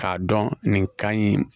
K'a dɔn nin ka ɲi